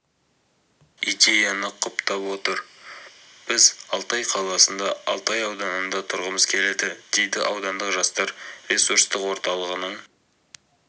идеяны құптап отыр біз алтай қаласында алтай ауданында тұрғымыз келеді дейді аудандық жастар ресурстық орталығының